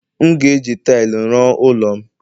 M ga-eji taịlị ruo ụlọ m